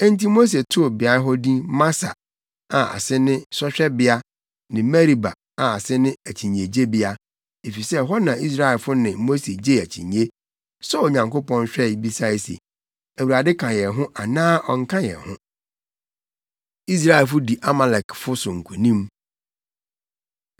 Enti Mose too beae hɔ din Masa a ase ne Sɔhwɛbea ne Meriba a ase ne Akyinnyegyebea, efisɛ ɛhɔ na Israelfo ne Mose gyee akyinnye, sɔɔ Onyankopɔn hwɛe, bisae se, “ Awurade ka yɛn ho anaa ɔnka yɛn ho?” Israelfo Di Amalekfo So Nkonim